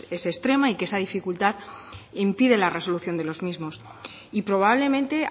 es extrema y que esa dificultad impide la resolución de los mismos y probablemente